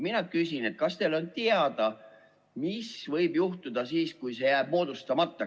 Mina küsin: kas teil on teada, mis võib juhtuda siis, kui see jääb moodustamata?